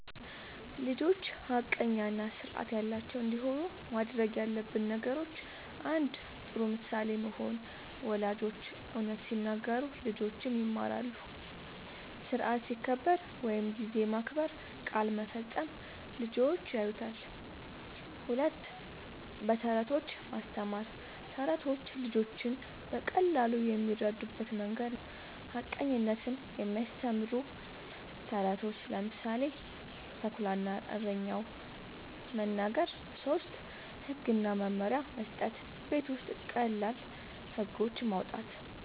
ልጆች ሐቀኛ እና ስርዓት ያላቸው እንዲሆኑ ማድረግ ያለብን ነገሮችን፦ ፩. ጥሩ ምሳሌ መሆን፦ ወላጆች እውነት ሲናገሩ ልጆችም ይማራሉ። ስርዓት ሲከበር (ጊዜ መከበር፣ ቃል መፈጸም) ልጆች ያዩታል። ፪. በተረቶች ማስተማር፦ ተረቶች ልጆች በቀላሉ የሚረዱበት መንገድ ነዉ። ሐቀኝነትን የሚያስተምሩ ተረቶችን (ምሳሌ፦ “ተኩላ እና እረኛው”) መናገር። ፫. ህግ እና መመሪያ መስጠት፦ ቤት ውስጥ ቀላል ህጎች ማዉጣት፣